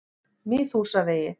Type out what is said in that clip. Miðhúsavegi